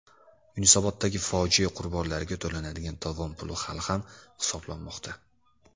Yunusoboddagi fojia qurbonlariga to‘lanadigan tovon puli hali ham hisoblanmoqda.